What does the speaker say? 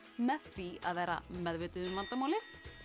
með því að vera meðvituð um vandamálið